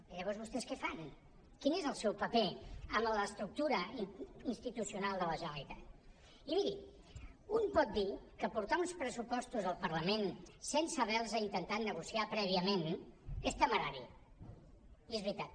i llavors vostès què fan quin és el seu paper en l’estructura institucional de la generalitat i miri un pot dir que portar uns pressupostos al parlament sense haver los intentat negociar prèviament és temerari i és veritat